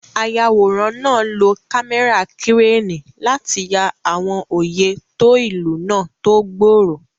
Ayàwòrán náà lo kámẹ́rà kírénì láti ya àwọn oyè tó ìlú náà tó gbòòrò.